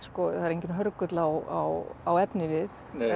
það er enginn hörgull á á efnivið